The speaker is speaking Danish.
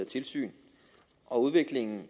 tilsyn udviklingen